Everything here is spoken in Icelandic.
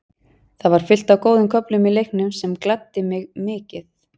Það var fullt af góðum köflum í leiknum sem gladdi mig mikið.